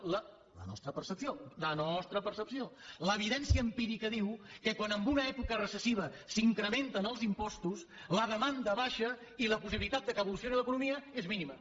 la nostra percepció la nostra percepció l’evidència empírica diu que quan en una època recessiva s’incrementen els impostos la demanda baixa i la possibilitat que evolucioni l’economia és mínima